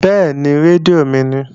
Bẹ́ẹ̀ni, rédíò mi ni